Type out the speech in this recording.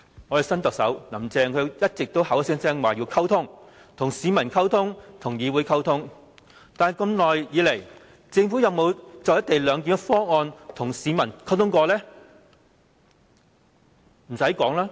我們的新特首"林鄭"一直聲稱要溝通，跟市民溝通、跟議會溝通，但一直以來，政府有否就"一地兩檢"方案，跟市民溝通呢？